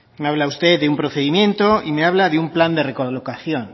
me habla usted de un procedimiento y me habla de un plan de recolocación